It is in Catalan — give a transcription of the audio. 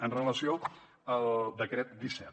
amb relació al decret disset